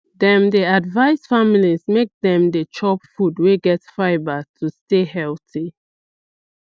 dem dey advise families make dem dey chop food wey get fibre to stay healthy